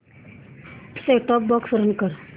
set top box run कर